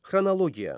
Xronologiya.